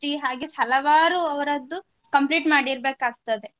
ಹಾಗೆ ಹಲವಾರು ಅವರದ್ದು complete ಮಾಡಿರ್ಬೇಕಾಗ್ತದೆ.